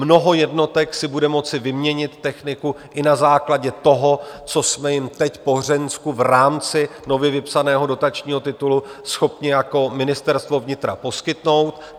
Mnoho jednotek si bude moci vyměnit techniku i na základě toho, co jsme jim teď po Hřensku v rámci nově vypsaného dotačního titulu schopni jako Ministerstvo vnitra poskytnout.